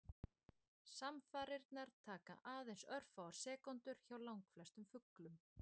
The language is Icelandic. Samfarirnar taka aðeins örfáar sekúndur hjá langflestum fuglum.